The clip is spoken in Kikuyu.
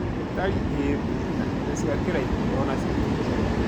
Tari ii thĩ na indo cia kĩraikũ onacio ti njega.